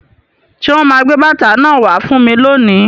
Ṣé wọn máa gbé bàtà náà wá fún mi lónìí?